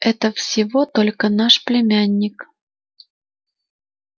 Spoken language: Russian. это всего только наш племянник